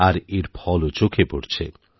আর এর ফলও চোখে পড়ছে